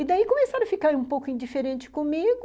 E daí começaram a ficar um pouco indiferente comigo...